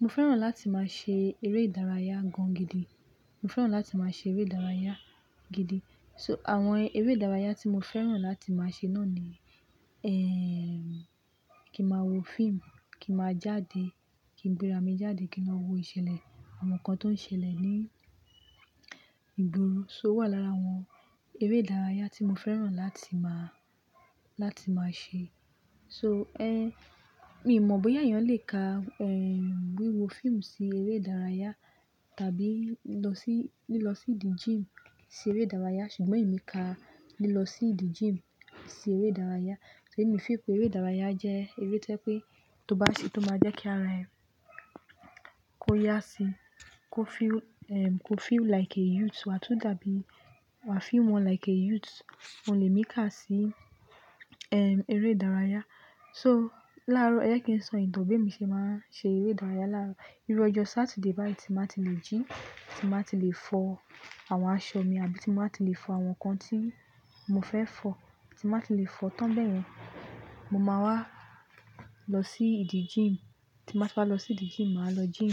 Mo fẹ́ràn láti máa ṣe eré ìdárayá gan gidi. So àwọn eré ìdárayá tí mo fẹ́ràn láti máa ṣe náà ni, kí máa wo fíìmù, kí máa jáde, kí n gbéra mi jáde, kí n máa wo ìṣẹ̀lẹ̀, àwọn nǹkan tó ń ṣẹlẹ̀ ní ìgboro. So wà lára àwọn eré ìdárayá tí mo fẹ́ràn láti máa ṣe. So, mi ò mọ̀ bóyá èèyàn lè ka wíwo fíìmù sí eré ìdárayá tàbí lílọ sí idi gym sí eré ìdárayá, ṣùgbọ́n èmi ka lílọ sí idi gym sí eré ìdárayá. Èmi fi pé eré ìdárayá jẹ́ eré tí pé tó bá ṣe, tó máa jẹ́ kí ara ẹ kò yá síi, kó feel like a youth wà tú dàbí wà feel more like a youth. Oun lè mí kà sí eré ìdárayá. So láàárọ̀, ẹ je kí n sọ ìtọ̀ bí mo ṣe máa ń ṣe eré ìdárayá. Láàárọ̀, irọ̀ ọjọ́ Saturday báyìí tí màá ti lè jí, tí màá ti lè fọ àwọn aṣọ mi àbí tí màá ti lè fọ àwọn nǹkan tí mo fẹ́ fọ, tí màá ti lè fọ tán bẹ́ẹ̀ yẹn, mo máa wá lọ sí idi gym. Tí màá ti wá lọ sí idi gym, màá lọ gym.